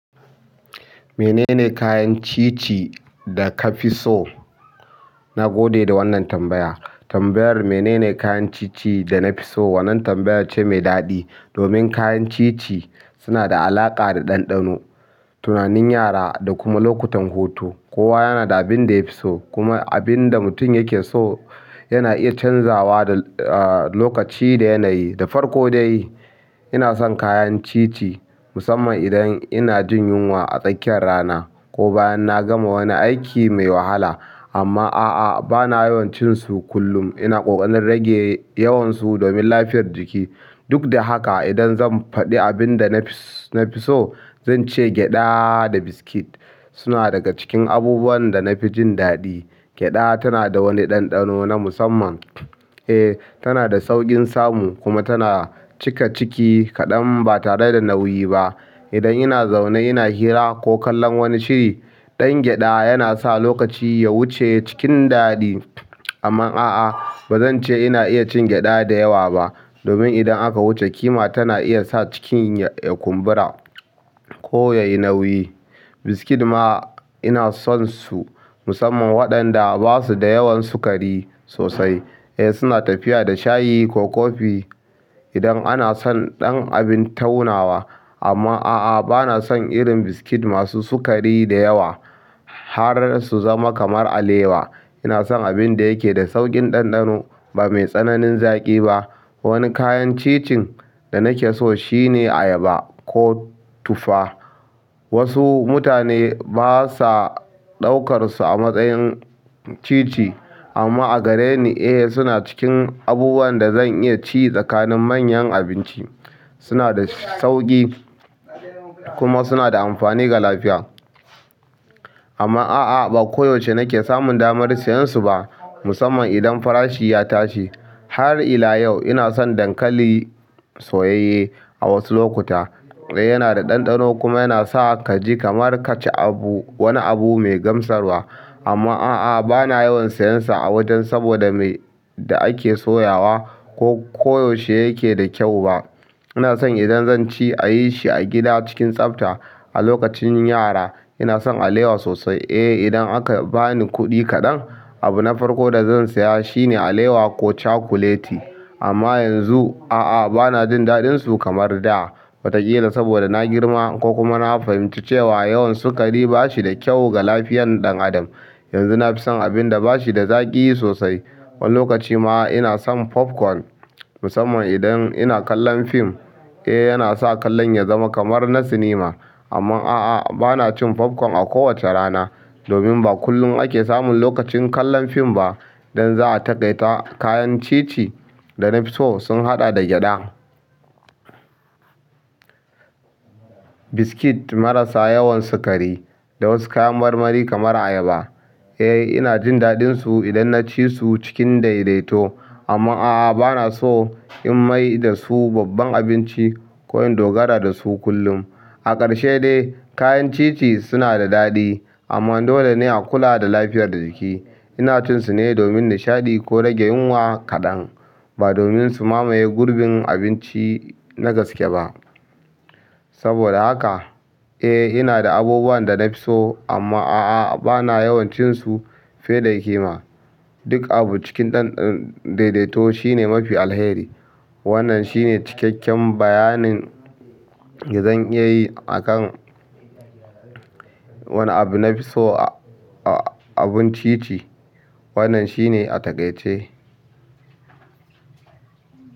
Menene kayan ci ci da ka fi so? Na gode da wannan tambaya. Tambayar "Menene kayan ci ci da na fi so?" wannan tambayar ce mai daɗi domin kayan ci ci suna da alaƙa da ɗanɗano, tunanin yara da kuma lokutan hutu. Kowa yana da abinda yafiso kuma abunda mutum yakeso yana iya chanzawa kuma da lokaci da yanayi da farko dai, ina son kayan ci ci musamman idan ina jin yunwa a tsakiyar rana ko bayan na gama wani aiki mai wahala. Amma a'a, ba na yawan cin su kullum. Ina ƙoƙarin rage yawan su domin lafiyar jiki. Duk da haka, idan zan faɗi abin da na fi so, zan ce gyaɗa da biskit suna daga cikin abubuwan da na fi jin daɗi. Gyaɗa tana da wani ɗanɗano na musamman. Eh, tana da sauƙin samu kuma tana cika ciki kaɗan ba tare da nauyi ba. Idan ina zaune ina hira ko kallon wani shiri, ɗan gyaɗa yana sa lokaci ya wuce cikin daɗi. Amma a'a, ba zan ce ina iya cin gyaɗa da yawa ba domin idan aka wuce kima tana iya sa cikin ya kumbura ko ya yi nauyi. Biskit ma ina son su musamman waɗanda ba su da yawan sukari sosai. Eh, suna tafiya da shayi ko kofi idan ana son ɗan abin taunawa. Amma a'a, ba na son irin biskit masu sukari da yawa har su zama kamar alewa. Ina son abin da yake da sauƙin ɗanɗano ba mai tsananin zaƙi ba. Wani kayan ci cin da nake so shine ayaba ko tufa. Wasu mutane ba sa ɗaukar su a matsayin ci ci amma a gare ni eh suna cikin abubuwan da zan iya ci tsakanin manyan abinci. Suna da sauƙi kuma suna da amfani ga lafiya. Amma a'a, ba koyaushe nake samun damar siyan su ba musamman idan farashi ya tashi. Har ila yau ina son dankali soyayye a wasu lokuta. Eh, yana da ɗanɗano kuma yana sa ka ji kamar ka ci abu, wani abu mai gamsarwa. Amma a'a, ba na yawan sayan sa a wajen saboda me da ake soyawa ko koyaushe yake da kyau ba. Ina son idan zan ci a yi shi a gida cikin tsafta. A lokacin yara ina son alewa sosai. Eh, idan aka ba ni kuɗi kaɗan, abu na farko da zan saya shine alewa ko cakuleti. Amma yanzu a'a, ba na jin daɗinsu kamar da. Wataƙila saboda na girma ko kuma na fahimci cewa yawan sukari ba shi da kyau ga lafiyan ɗan adam. Yanzu na fi son abin da ba shi da zaƙi sosai. Wani lokaci ma ina son popcorn musamman idan ina kallon fim. Eh, yana sa kallon ya zama kamar na sinima. Amma a'a, ba na cin popcorn a kowace rana domin ba kullum ake samun lokacin kallon fim ba. Idan za'a taƙaitar, kayan ci ci da na fi so sun haɗa da gyaɗa, biskit marasa yawan sukari da wasu kayan marmari kamar ayaba. Eh, ina jin daɗinsu idan na ci su cikin daidaito. Amma a'a, ba na so in mai da su babban abinci ko in dogara da su kullum. A ƙarshe dai kayan cici suna da daɗi amma dolene akula da lafiyar jiki ina cin su ne domin nishaɗi ko rage yunwa kaɗan ba domin su mamaye gurbin abinci na gaske ba. Saboda haka, eh ina da abubuwan da na fi so amma a'a, ba na yawan cin su fiye da ƙima. Duk abu cin ɗan daidaito shine mafi alheri. Wannan shine cikakken bayanin da zan iya yi a kan wane abu na fi so a abun ci ci. Wannan shine a taƙaice.